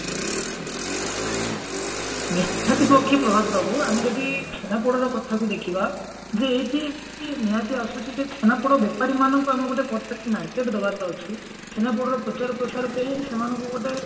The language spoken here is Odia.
ନିହାତି ପକ୍ଷେ ପ୍ରଭାତ ବାବୁ ଆମେ ଯଦି ଛେନାପୋଡର କଥାକୁ ଦେଖିବା ଯେ ଏଇଠି ନିହାତି ଆସୁଛି ଯେ ଛେନାପୋଡ ବେପାରୀ ମାନଙ୍କୁ ଆମେ ଗୋଟେ perfect market ଦବାର ଅଛି ଛେନାପୋଡର ପ୍ରଚାର ପ୍ରସାର ପାଇଁ ସେମାନକୁ ଗୋଟେ